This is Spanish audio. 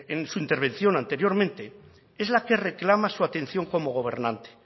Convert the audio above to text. en su intervención anteriormente es la que reclama su atención como gobernante